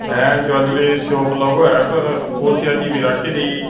ਇਹ jewellery shop ਲਗੁ ਆ ਪਰ ਕੁਰਸੀਆਂ ਜੀ ਭੀ ਰਾਖੀ ਦੀ --